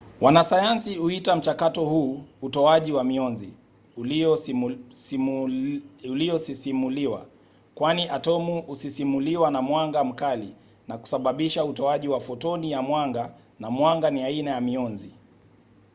wanasayansi huita mchakato huu utoaji wa mionzi uliosisimuliwa kwani atomu husisimuliwa na mwanga mkali na kusababisha utoaji wa fotoni ya mwanga na mwanga ni aina ya mionzi